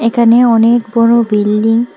এখানে অনেক বড় বিল্ডিং --